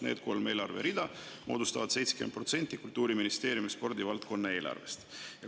Need kolm eelarverida moodustavad 70% Kultuuriministeeriumi spordivaldkonna eelarvest.